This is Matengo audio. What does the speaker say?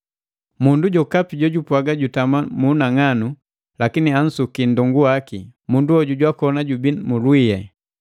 Mundu jokapi jojupwaga jutama mu unang'anu, lakini ansuki nndongu waki, mundu hoju jwakoni jubii mu lwii.